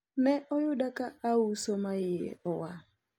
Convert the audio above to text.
ne oyuda ka auso ma iye owang